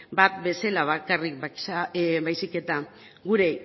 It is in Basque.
bat bezala bakarrik baizik eta gure